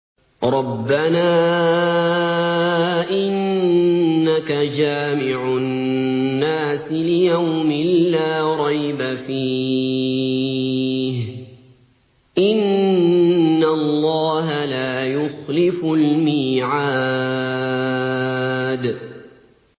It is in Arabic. رَبَّنَا إِنَّكَ جَامِعُ النَّاسِ لِيَوْمٍ لَّا رَيْبَ فِيهِ ۚ إِنَّ اللَّهَ لَا يُخْلِفُ الْمِيعَادَ